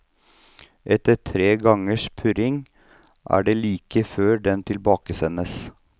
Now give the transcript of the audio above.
Etter tre gangers purring er det like før den tilbakesendes.